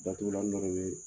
Datugulan dɔ de bɛ